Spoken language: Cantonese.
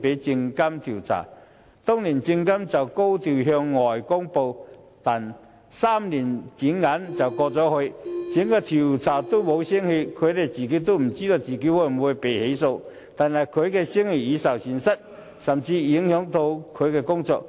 證監會當時高調向外公布，但轉眼3年過去，調查仍沒有結果，他也不知道會否被起訴，但聲譽卻已受損，甚至影響他的工作。